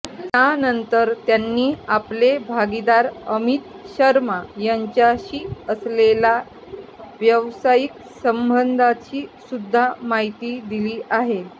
यानंतर त्यांनी आपले भागीदार अमित शर्मा यांच्याशी असलेलया व्यावसायिक संबंधांची सुद्धा माहिती दिली आहे